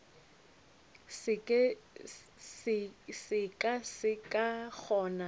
se ka se sa kgona